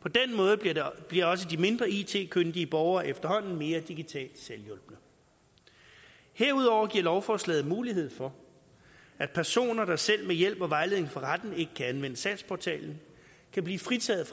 på den måde bliver bliver også de mindre it kyndige borgere efterhånden mere digitalt selvhjulpne herudover giver lovforslaget mulighed for at personer der selv med hjælp og vejledning fra retten ikke kan anvende sagsportalen kan blive fritaget